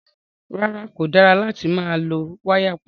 Rárá, kò dára láti máa lọ́ wáyà pọ̀.